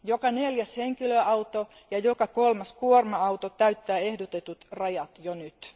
Joka neljäs henkilöauto ja joka kolmas kuorma auto täyttää ehdotetut rajat jo nyt.